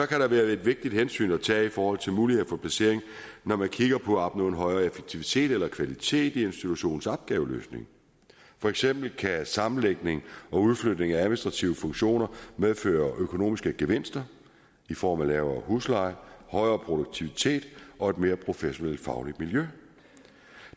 kan der være et vigtigt hensyn at tage i forhold til muligheder for placering når man kigger på at opnå en højere effektivitet eller kvalitet i institutionens opgaveløsning for eksempel kan sammenlægning og udflytning af administrative funktioner medføre økonomiske gevinster i form af lavere husleje højere produktivitet og et mere professionelt fagligt miljø